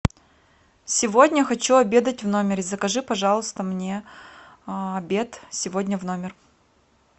сегодня хочу обедать в номере закажи пожалуйста мне обед сегодня в номер